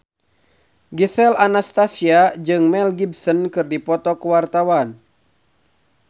Gisel Anastasia jeung Mel Gibson keur dipoto ku wartawan